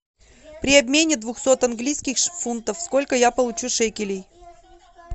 при обмене двухсот английских фунтов сколько я получу шекелей